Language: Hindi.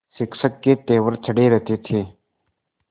शिक्षक के तेवर चढ़े रहते थे